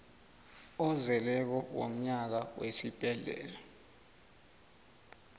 ozeleko womnyaka wesibhedlela